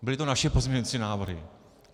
Byly to naše pozměňovací návrhy.